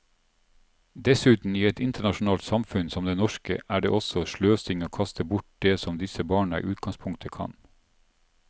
Dessuten, i et internasjonalt samfunn som det norske, er det også sløsing å kaste bort det som disse barna i utgangspunktet kan.